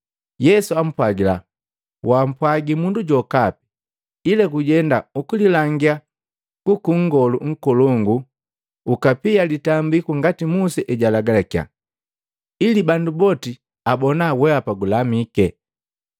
Yesu ampwagila, “Wampwagi mundu jokapi. Ila gujenda, ukililangia kwaka nngolu nkolongu ukapia litambiku ngati Musa ejulagalakya, ili bandu boti abona wehapa gulamike.”